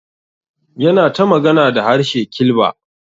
Yana ta magana da harshe Kilba.